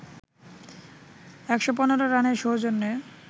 ১১৫ রানের সৌজন্যে